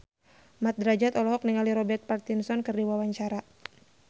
Mat Drajat olohok ningali Robert Pattinson keur diwawancara